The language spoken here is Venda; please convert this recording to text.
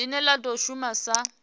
line la do shuma sa